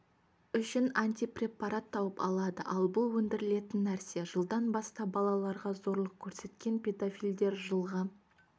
үшін антипрепарат тауып алады ал бұл өндірілетін нәрсе жылдан бастап балаларға зорлық көрсеткен педофилдер жылға